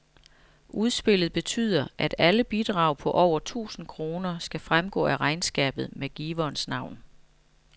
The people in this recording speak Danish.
Udspillet betyder, at alle bidrag på over tusind kroner skal fremgå af regnskabet med giverens navn.